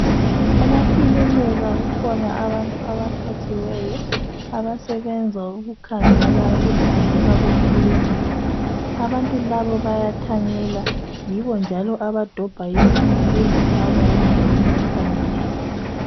Emakilinika kukhona abantu abaqhatshiweyo abasebenza ukukhangela ukuhlanzeka kwekilinika .Abantu labo bayathanyela ,yibo njalo abadobha izibi bezifaka endaweni efaneleyo.